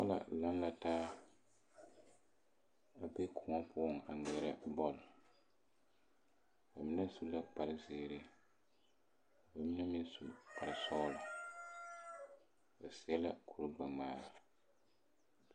Noba laŋ la taa a be kõɔ poɔŋ a ŋmeɛrɛ bɔl ba mine su la kparre zeere ka ba mine meŋ su kparre sɔgla ba seɛ kuri gbɛŋmaara.